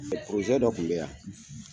dɔ kun bɛ yan